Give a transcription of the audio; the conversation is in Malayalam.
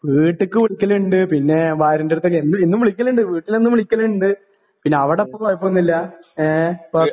വീട്ടിക്ക് വിളിക്കലിണ്ട് പിന്നേ ഭാര്യന്റെടുത്തൊക്കെ എന്നും എന്നും വിളിക്കലിണ്ട് വീട്ടിലെന്നും വിളിക്കലിണ്ട് പിന്നെ അവിടപ്പോ കൊഴപ്പൊന്നൂല്ലാ എ ഇപ്പൊ.